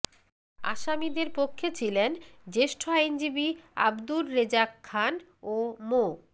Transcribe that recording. আসামিদের পক্ষে ছিলেন জ্যেষ্ঠ আইনজীবী আবদুর রেজাক খান ও মো